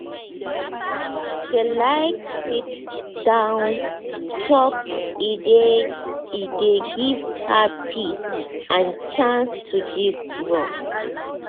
she like sit-down chop e dey e dey give her peace and chance to gist well.